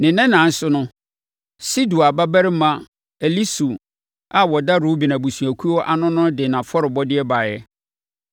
Ne nnanan so no, Sedeur babarima Elisur a ɔda Ruben abusuakuo ano no de nʼafɔrebɔdeɛ baeɛ.